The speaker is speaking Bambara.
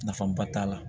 Nafaba t'a la